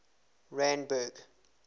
randburg